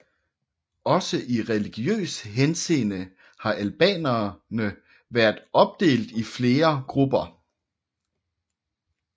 Også i religiøs henseende har albanerne været opdelt i flere grupper